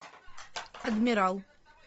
адмирал